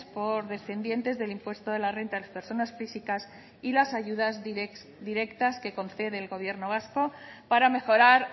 por descendientes del impuesto de la renta de las personas físicas y las ayudas directas que concede el gobierno vasco para mejorar